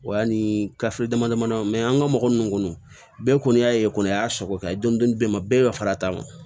O y'a ni damadama mɛ an ka mɔgɔ minnu kɔnɔ bɛɛ kɔni y'a ye kɔni o y'a sɔrɔ ka ye dɔni bɛ n ma bɛɛ bɛ fara a ta kan